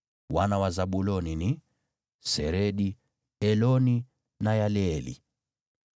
Wana wa Zabuloni ni: Seredi, Eloni na Yaleeli.